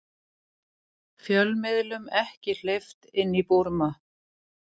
Fjölmiðlum ekki hleypt inn í Búrma